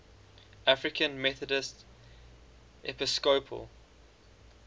african methodist episcopal